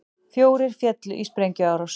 Fjórir féllu í sprengjuárás